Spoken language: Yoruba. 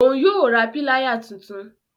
Òún yóò rà Píláyà títún